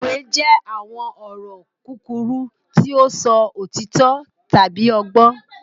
Òwe jẹ àwọn ọ̀rọ̀ kúkúrú ti o sọ òtító tábi ọgbọ́n.